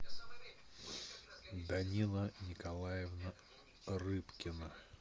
данила николаевна рыбкина